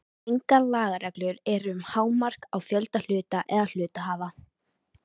Engar lagareglur eru um hámark á fjölda hluta eða hluthafa.